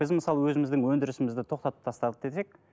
біз мысалы өзіміздің өндірісімізді тоқтатып тастадық десек